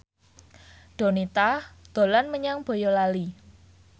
Donita dolan menyang Boyolali